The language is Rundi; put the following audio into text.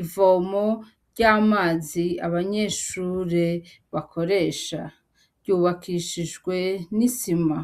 ivomo ry'amazi abanyeshure bakoresha . Ry'ubakishijwe n'isima.